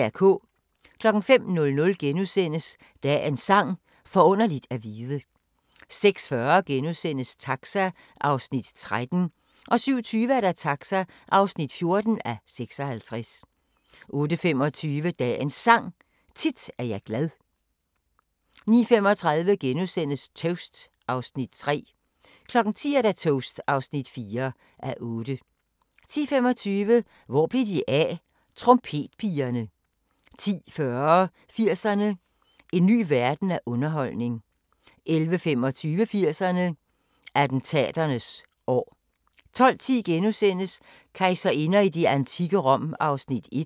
05:00: Dagens Sang: Forunderligt at vide * 06:40: Taxa (13:56)* 07:20: Taxa (14:56) 08:25: Dagens Sang: Tit er jeg glad 09:35: Toast (3:8)* 10:00: Toast (4:8) 10:25: Hvor blev de af? – Trompetpigerne 10:40: 80'erne: En ny verden af underholdning 11:25: 80'erne: Attentaternes år 12:10: Kejserinder i det antikke Rom (1:3)*